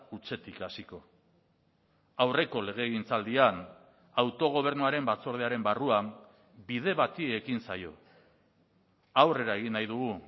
hutsetik hasiko aurreko legegintzaldian autogobernuaren batzordearen barruan bide bati ekin zaio aurrera egin nahi dugu